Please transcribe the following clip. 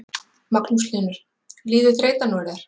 Magnús Hlynur: Líður þreytan úr þér?